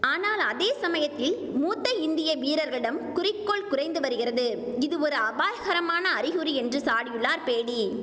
ஆனால் அதே சமயத்தில் மூத்த இந்திய வீரர்களிடம் குறிக்கோள் குறைந்து வருகிறது இது ஒரு அபாயகரமான அறிகுறி என்று சாடியுள்ளார் பேடி